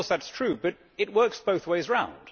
Of course, that is true, but it works both ways around.